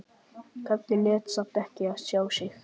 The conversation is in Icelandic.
Karlinn lét samt ekki sjá sig.